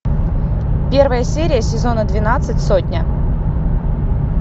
первая серия сезона двенадцать сотня